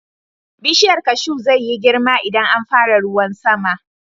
Bishiyar kashu zai yi girma idan an fara ruwan sama.